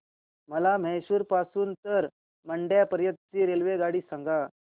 मला म्हैसूर पासून तर मंड्या पर्यंत ची रेल्वेगाडी सांगा